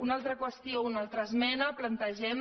una altra qüestió en una altra esmena plantegem